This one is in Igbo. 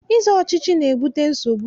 Ịzọ ọchịchị na-ebute nsogbu.